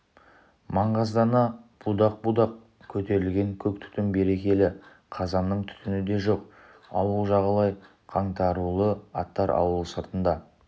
маңғаздана будақ-будақ көтерілген көк түтін берекелі қазанның түтіні де жоқ ауыл жағалай қаңтарулы аттар ауыл сыртында